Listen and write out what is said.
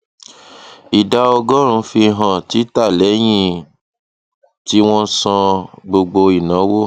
ìdá ọgọrùnún fi hàn títà lẹyìn tí wọn san gbogbo ìnáwó